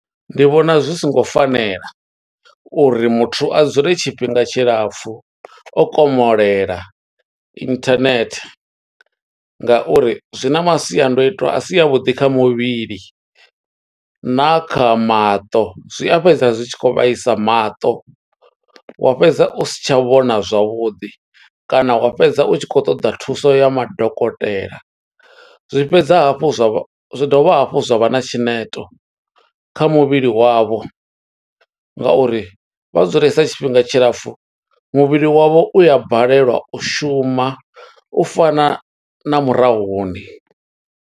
Ndi vhona zwi songo fanela, uri muthu a dzule tshifhinga tshilapfu o komolela internet, nga uri zwi na masiandoitwa a si a vhuḓi kha muvhili, na kha maṱo. Zwi a fhedza zwi tshi khou vhaisa maṱo, wa fhedza u si tsha vhona zwavhuḓi, kana wa fhedza u tshi khou ṱoḓa thuso ya madokotela. Zwi fhedza hafhu zwa vha, zwi dovha hafhu zwa vha na tshineto kha muvhili wavho, nga uri vha dzulesa tshifhinga tshilapfu, muvhili wavho u ya balelwa u shuma, u fana na murahuni.